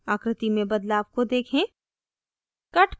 आकृति में बदलाव को देखें